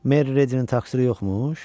Meriyə taksiləri yoxmuş?